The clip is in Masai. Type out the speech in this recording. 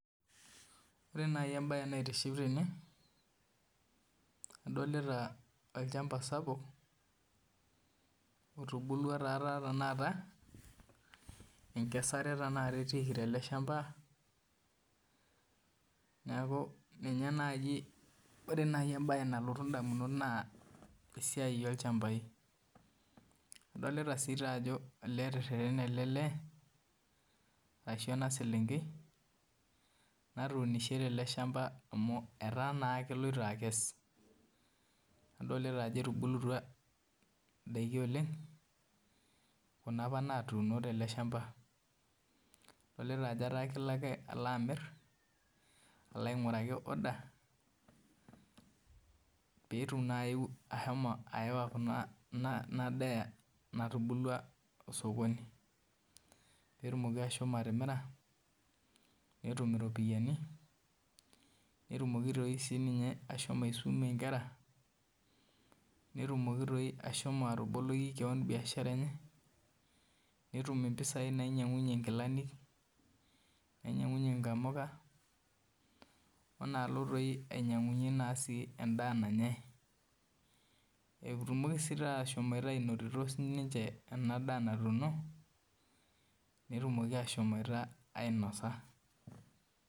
Ore naaji embaye naitiship tene adolita olchamba sapuk otubulua etaa tenaka enkesare tenakata etiiki teleshamba ore naaji embaye nalotu indamunot naa esia olchamba ore naa ajo etererene ena selenkei amu etaa naaa keloito akes idolita ajo etubulutua indaikin olong kuna apa naatuno tele shamba peetum baa ashomo atimira peetum iropiyiani netum asiumie inkera netum naabolie biashara enye olainyiang'unyie inkilani onaalo doi ainyiang'unyie naa sii endaa nanyai etumoki ashom ainoto ena daa natuuno netumoki ashom ainosa